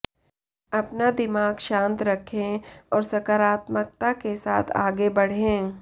अपना दिमाग शांत रखें और सकारात्मकता के साथ आगे बढ़ें